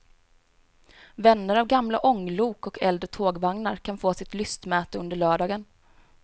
Vänner av gamla ånglok och äldre tågvagnar kan få sitt lystmäte under lördagen.